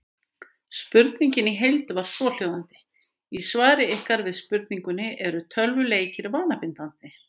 Spurningin í heild var svohljóðandi: Í svari ykkar við spurningunni Eru tölvuleikir vanabindandi?